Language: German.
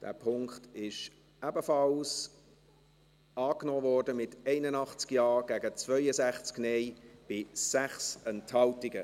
Dieser Punkt wurde ebenfalls angenommen, mit 81 Ja- gegen 62 Nein-Stimmen bei 6 Enthaltungen.